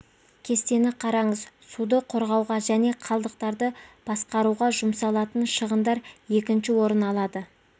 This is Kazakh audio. кестені қараңыз суды қорғауға және қалдықтарды басқаруға жұмсалатын шығындар екінші орын алады